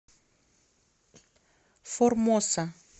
формоса